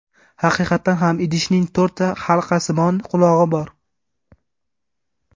Haqiqatan ham idishning to‘rtta halqasimon qulog‘i bor.